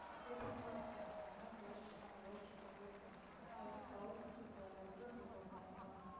கேட்டுட்டுதான் இருக்கேன் நீங்க என்னான்னு யோசிச்சுக்கோங்க யோசிச்சு முடிவு எடுங்க இல்லாட்டி government க்கு letter எழுதி போடலாம்ல